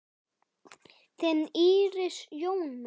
Þín Íris Jóna.